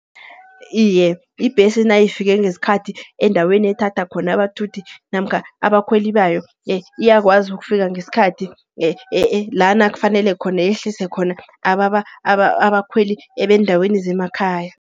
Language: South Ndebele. Iye, ibhesi nayifike ngesikhathi endaweni ethatha khona abathuthi, namkha abakhweli bayo iyakwazi ukufika ngeskhathi la kufanele khona yehlise khona abakhweli beendaweni zemakhaya.